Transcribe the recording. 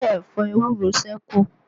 Ṣẹ́ ẹ̀fọ ewúro sẹ́kù?